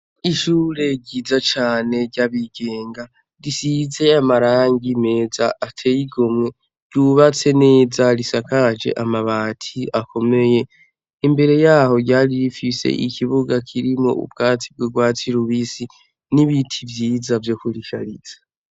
Ishure ryiza cane ry'abigenga. Risize amarangi meza ateye igomwe. Ryubatse neza, risakaje amabati akomeye. Imbere y'aho ryari rifise ikibuga kirimwo ubwatsi bw'urwatsi rubisi, n'ibiti vyiza vyo kurishariza.